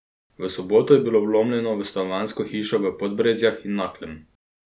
V soboto je bilo vlomljeno v stanovanjsko hišo v Podbrezjah in Naklem.